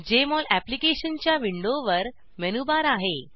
Jmol अप्लिकेशनच्या विंडोवर menu bar आहे